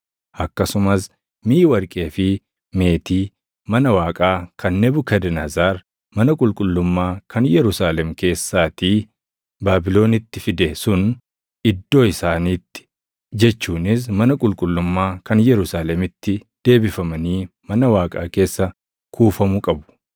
Akkasumas miʼi warqee fi meetii mana Waaqaa kan Nebukadnezar mana qulqullummaa kan Yerusaalem keessaatii Baabilonitti fide sun iddoo isaanitti jechuunis mana qulqullummaa kan Yerusaalemitti deebifamanii mana Waaqaa keessa kuufamu qabu.